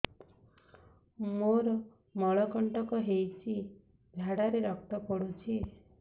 ମୋରୋ ମଳକଣ୍ଟକ ହେଇଚି ଝାଡ଼ାରେ ରକ୍ତ ପଡୁଛି